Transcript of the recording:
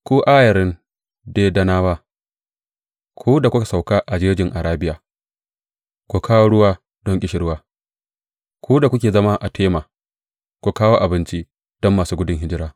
Ku ayarin Dedanawa, ku da kuka sauka a jejin Arabiya, ku kawo ruwa don ƙishirwa; ku da kuke zama a Tema, ku kawo abinci don masu gudun hijira.